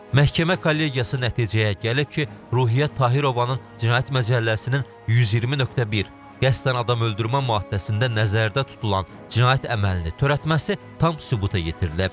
Məhkəmə kollegiyası nəticəyə gəlib ki, Ruhiyyət Tahirovanın Cinayət Məcəlləsinin 120.1 qəsdən adam öldürmə maddəsində nəzərdə tutulan cinayət əməlini törətməsi tam sübuta yetirilib.